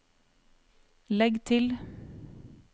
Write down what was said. legg til